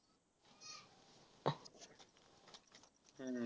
हम्म